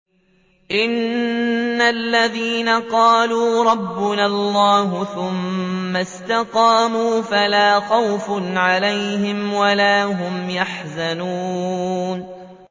إِنَّ الَّذِينَ قَالُوا رَبُّنَا اللَّهُ ثُمَّ اسْتَقَامُوا فَلَا خَوْفٌ عَلَيْهِمْ وَلَا هُمْ يَحْزَنُونَ